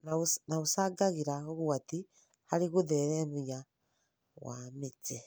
na ũcangagĩra ũgwati harĩ gũtheremia wa mĩtĩ